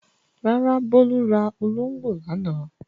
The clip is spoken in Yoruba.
Rárá, Bólú ra olóńgbò lánàá.